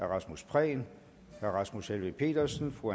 rasmus prehn rasmus helveg petersen